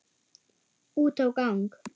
Út á gang.